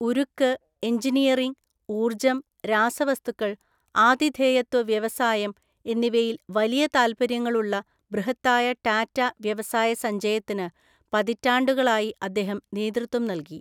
ഉരുക്ക്, എഞ്ചിനീയറിംഗ്, ഊര്‍ജ്ജം, രാസവസ്തുക്കള്‍, ആതിഥേയത്വ വ്യവസായം എന്നിവയിൽ വലിയ താൽപ്പര്യങ്ങളുള്ള ബൃഹത്തായ ടാറ്റ വ്യവസായ സഞ്ചയത്തിന് പതിറ്റാണ്ടുകളായി അദ്ദേഹം നേതൃത്വം നൽകി.